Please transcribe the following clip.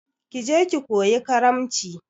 Ki je ki koyi karamci!